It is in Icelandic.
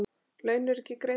Laun eru ekki greidd.